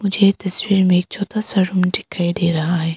यह दूसरे में एक छोटा सा रूम दिखाई दे रहा है।